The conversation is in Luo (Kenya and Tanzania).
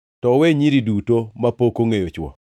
to uwe nyiri duto mapok ongʼeyo chwo.